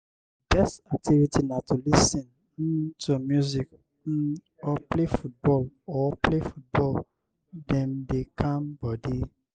di best activity na to lis ten um to music um or play football or play football dem dey calm body.